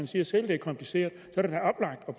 siger selv det er kompliceret